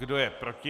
Kdo je proti?